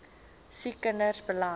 siek kinders beland